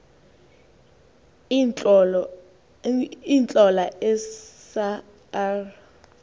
iintlola esa r